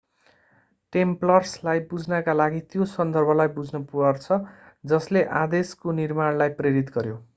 टेम्प्ल्रसलाई बुझ्नका लागि त्यो सन्दर्भलाई बुझ्नुपर्छ जसले आदेशको निर्माणलाई प्रेरित गर्‍यो।